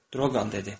Droqan dedi: